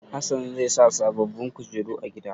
Hassan zai sa sababbin kujeru a gida.